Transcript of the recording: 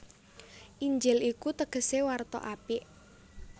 Injil iku tegesé warta apik